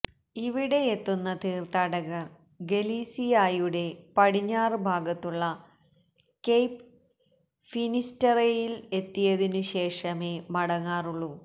ഇവിടെയെത്തുന്ന തീർത്ഥാടകർ ഗലീസിയായുടെ പടിഞ്ഞാറു ഭാഗത്തുള്ള കെയ്പ് ഫിനിസ്റ്ററേയിൽ എത്തിയതിനുശേഷമേ മടങ്ങാറുള്ളു